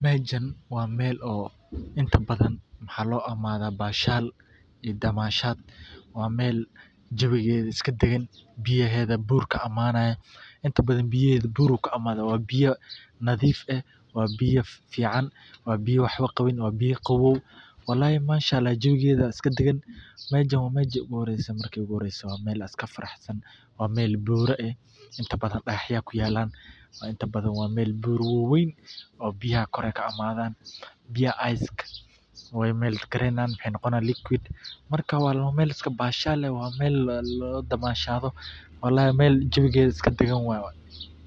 Mejan waa meel inta badan waxaa lo imadha bashal iyo damashaad, waa meel jawigeeda iska dagan biyaheedha bur kaimanayan, inta badan biyaheedu bur ayey ka imadhan waa biya nadhiif eh waa biya fican waa biya wax qawin waa biya qawow walahi manshaallah jawigeeda iska daqan, mejan waa meji ogu horeyse dad iska faraxsan waa meel bura eh inta badan digaxya aya ku yalan, inta badan waa meel bura wawen biyaha kor ayey ka imadhan marka wexee noqonayin liquid marka waa meel iska bashal eh oo ladamashadho walahi meel jawigeeda iska dagan waye.